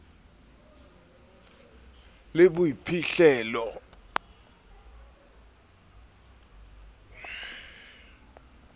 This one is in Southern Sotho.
le boiphihlello cv a ko